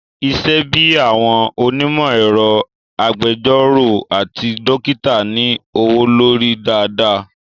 Isẹ́ bíi àwọn onímọ̀ ẹ̀rọ, agbẹjọ́rọ̀ àti dókítà ní owó lórí dáadáa